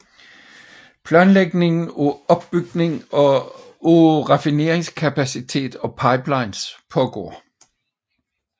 Planlægning af opbygning af raffineringskapacitet og pipelines pågår